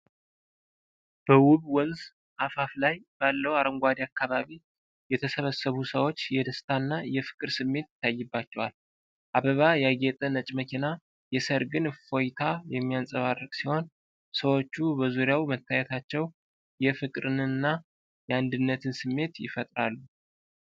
በውብ ወንዝ አፋፍ ላይ ባለው አረንጓዴ አካባቢ የተሰበሰቡት ሰዎች የደስታና የፍቅር ስሜት ይታይባቸዋል። አበባ ያጌጠ ነጭ መኪና የሠርግን እፎይታ የሚያንጸባርቅ ሲሆን፣ ሰዎቹ በዙሪያው መታየታቸው የፍቅርንና የአንድነትን ስሜት ይፈጥራል።